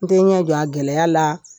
N tɛ n ɲɛ jɔ a gɛlɛya la